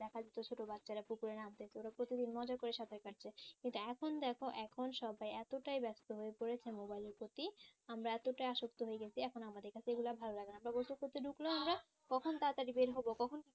ছোটো বাচ্চারা পুকুরে নামতেছে ওরা প্রতিদিন মজা করে সাঁতার কাটছে কিন্তু এখন দেখ এখন সবাই এতটাই ব্যস্ত হয়ে পরেছে mobile এর প্রতি আমরা এতটা আসক্ত হয়ে গেছি এখন আর আমাদের কাছে এইগুলা ভালো লাগেনা গোসল করতে ঢুকলেও আমরা কখন তাড়াতাড়ি বের হব কখন